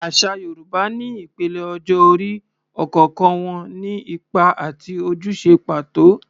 Àṣà Yorùbá ní ìpele ọjọ́ orí, ọ̀kọ̀ọ̀kan wọn ní ipa àti ojúṣe pàtó.